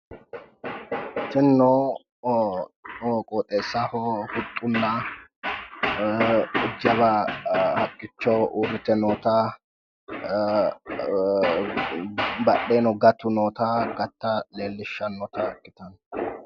Tinino qoxessaho huxxunna jawa haqqicho urrite noota badheeno gatu noota gatta leellishshannota ikkitanno